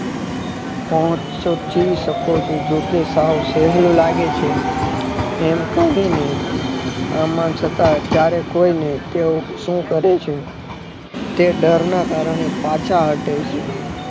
હું સમજી શકું છુ જોકે સહેલો લાગે છે એમ કરીને અમ છતાં જ્યારે કોઈ ને શું કહે છે તે ડરના કારણે પાછા હતે છે